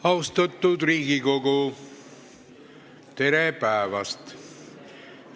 Austatud Riigikogu, tere päevast!